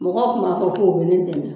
Mɔgɔw kun b'a fɔ k'o be dɛmɛ